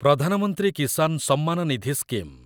Pradhan Mantri Kisan Samman Nidhi scheme